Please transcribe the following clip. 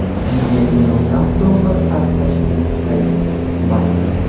unga millionlab dollar sarflashini istaydi - Bayden.